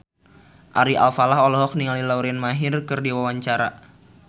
Ari Alfalah olohok ningali Lauren Maher keur diwawancara